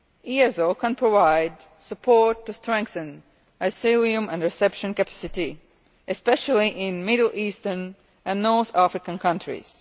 EASO can provide support to strengthen asylum and reception capacity, especially in Middle Eastern and North African countries.